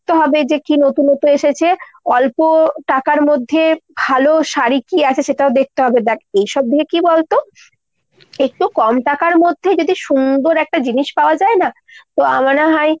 দেখতে হবে কী নতুনতো এসেছে। অল্প টাকার মধ্যে ভালো শাড়ী কী আছে সেটাও দেখতে হবে। দ্যাখ এইসব দিকে কী বলতো ? একটু কম টাকার মধ্যে যদি সুন্দর একটা জিনিস পাওয়া যায় না তো এমনও হয়